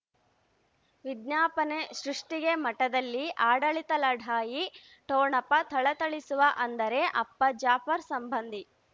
ವಿಜ್ಞಾಪನೆ ಸೃಷ್ಟಿಗೆ ಮಠದಲ್ಲಿ ಆಡಳಿತ ಲಢಾಯಿ ಠೊಣಪ ಥಳಥಳಿಸುವ ಅಂದರೆ ಅಪ್ಪ ಜಾಫರ್ ಸಂಬಂಧಿ